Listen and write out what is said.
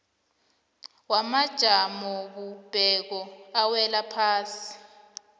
wamajamobumbeko awela ngaphasi